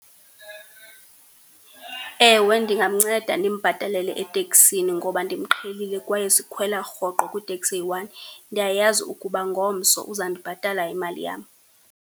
Ewe ndingamnceda ndimbhatalele eteksini ngoba ndimqhelile kwaye sikhwela rhoqo kwiteksi eyi-one. Ndiyayazi ukuba ngomso uzandibhatala imali yam.